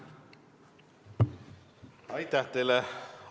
Aitäh teile!